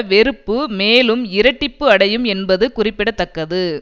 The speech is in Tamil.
வெறுப்பு மேலும் இரட்டிப்பு அடையும் என்பது குறிப்பிட தக்கது